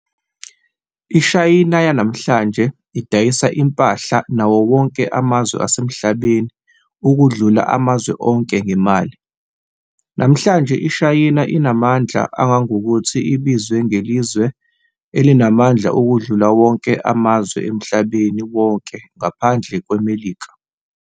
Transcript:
IShayina yanamhlanje idayisa impahla nawonke amazwe asemhlabeni ukundlula amazwe onke ngemali. Namhlanje iShayina inamandla anagangokuthi ibizwe ngelizwe elimandla ukudlula wonke amazwe emhlabeni wonke ngaphandle kweMelika.